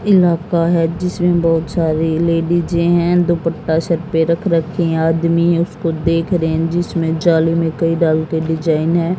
इलाका है जिसमें बहुत सारी लेडीजे हैं दुपट्टा सर पे रख रखी हैं आदमी है उसको देख रहे हैं जिसमें जाली में कई के डिजाइन हैं।